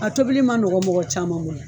A tobili man nɔgɔ mɔgɔ caman bolo.